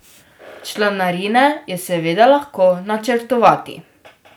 Članarine je seveda lahko načrtovati.